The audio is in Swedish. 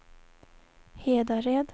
Hedared